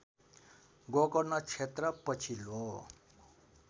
गोकर्ण क्षेत्र पछिल्लो